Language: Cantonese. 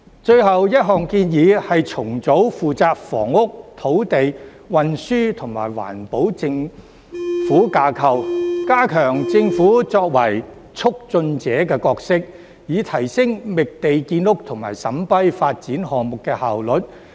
最後一項建議是重組負責房屋、土地、運輸及環保的政府架構，加強政府作為"促進者"的角色，以提升覓地建屋及審批發展項目的效率。